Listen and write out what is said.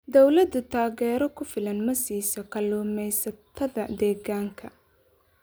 Dawladdu taageero ku filan ma siiso kalluumaysatada deegaanka.